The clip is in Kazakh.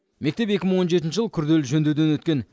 мектеп екі мың он жетінші жылы күрделі жөндеуден өткен